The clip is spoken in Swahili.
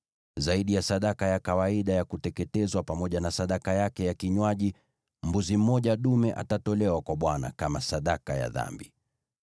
Zaidi ya sadaka ya kawaida ya kuteketezwa pamoja na sadaka yake ya kinywaji, mbuzi mmoja dume atatolewa kwa Bwana kama sadaka ya dhambi.